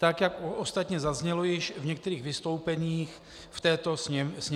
Tak jak ostatně zaznělo již v některých vystoupeních v této Sněmovně.